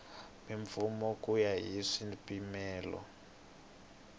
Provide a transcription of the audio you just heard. mimpfuno ku ya hi swipimelo